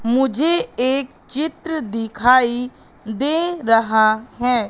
मुझे एक चित्र दिखाई दे रहा है।